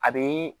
A be